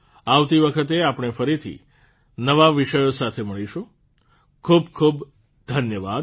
આવતી વખતે આપણે ફરીથી નવા વિષયો સાથે મળીશું ખૂબ ખૂબ ધન્યવાદ